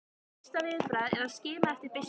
Mitt fyrsta viðbragð er að skima eftir byssunni.